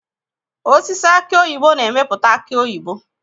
Osisi aki oyibo na-emepụta aki oyibo.